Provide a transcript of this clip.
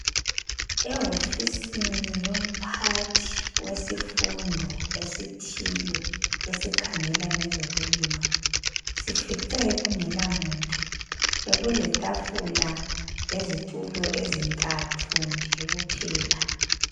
Ewofisini yomphathi wesifundo esithile esikhangela ngezokulima sifice kungelamuntu. Bekuletafula lezitulo ezintathu nje kuphela.